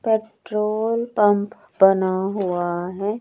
Petrol pump बना हुआ है।